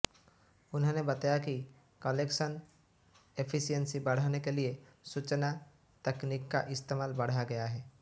उन्होंने बताया कि कलेक्शन एफिशिएन्सी बढ़ाने के लिए सूचना तकनीक का इस्तेमाल बढ़ाया गया है